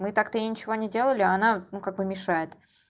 мы так-то ей ничего не делали а она ну как бы мешает